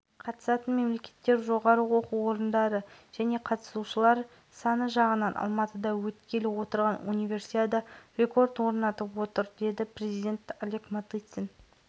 барыс хоккей клубының баспсөз қызметі жұлдыздар матчының қайда өтетіндігі туралы соңғы шешім биыл мамыр айында белгілі